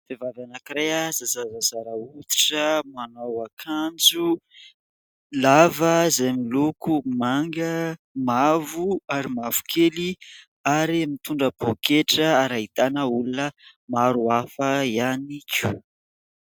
Vehivavy anankiray izay zarazara hoditra. Manao akanjo lava izay miloko manga, mavo ary mavokely ary mitondra poaketra ary ahitana olona maro hafa ihany koa.